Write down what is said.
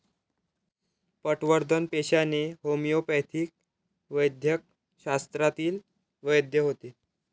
पटवर्धन पेशाने होमिओपॅथिक वैद्यकशास्त्रातील वैद्य होते.